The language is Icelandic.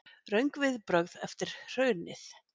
Röng viðbrögð eftir hrunið